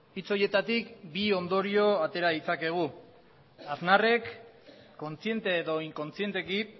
hitz horietatik bi ondorio atera ditzakegu aznarrek kontziente edo inkontzienteki